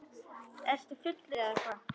Ertu fullur eða hvað?